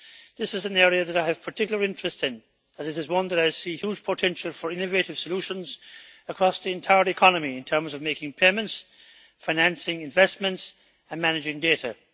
This is an area that I have particular interest in, as it is one that I see has huge potential for innovative solutions across the entire economy in terms of making payments, financing investments and managing data.